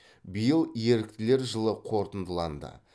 биыл еріктілер жылы қорытындыланды